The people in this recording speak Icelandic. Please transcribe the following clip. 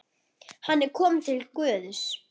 Hann er kominn til Guðs.